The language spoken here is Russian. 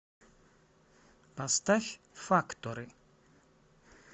поставь факторы